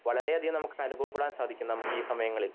വളരെ അതികം നമക്ക് അനുഭവപ്പെടാൻ സാധിക്കും നമക്ക് ഈ സമയങ്ങളിൽ